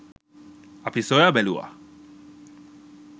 අපි සොයා බැලුවා